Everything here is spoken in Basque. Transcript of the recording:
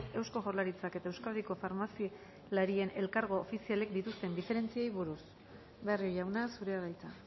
eusko jaurlaritzak eta euskadiko farmazialarien elkargo ofizialek dituzten diferentziei buruz barrio jauna zurea da hitza